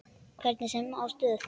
Hvernig sem á stóð.